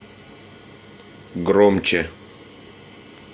громче